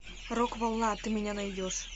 рок волна ты меня найдешь